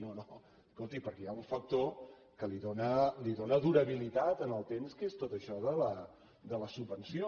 no no escolti perquè hi ha un factor que li dóna durabilitat en el temps que és tot això de la subvenció